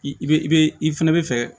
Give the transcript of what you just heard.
I i be i be i fɛnɛ bi fɛ